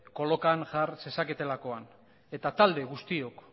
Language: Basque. kolokan jar zezaketelakoan eta talde guztiok